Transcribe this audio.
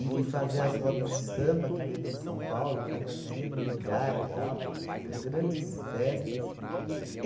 e fazer as rodas de samba aqui dentro de São Paulo, cada dia num lugar e tal, ga grandes festas e